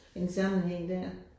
En sammenhæng der